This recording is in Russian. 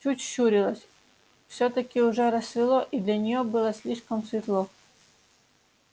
чуть щурилась всё-таки уже рассвело и для неё было слишком светло